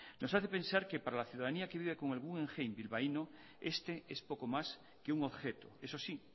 nos hace pensar que para la ciudadanía que vive con el guggenheim bilbaíno este es poco más que un objeto eso sí